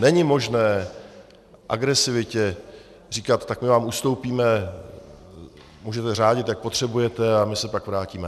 Není možné agresivitě říkat: tak my vám ustoupíme, můžete řádit, jak potřebujete, a my se pak vrátíme.